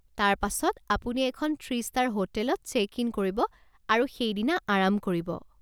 তাৰ পাছত আপুনি এখন থ্ৰী ষ্টাৰ হোটেলত চেক ইন কৰিব আৰু সেইদিনা আৰাম কৰিব।